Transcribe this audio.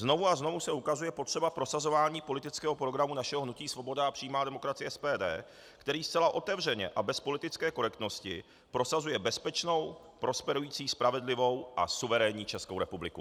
Znovu a znovu se ukazuje potřeba prosazování politického programu našeho hnutí Svoboda a přímá demokracie, SPD, který zcela otevřeně a bez politické korektnosti prosazuje bezpečnou, prosperující, spravedlivou a suverénní Českou republiku.